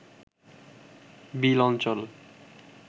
বিল অঞ্চল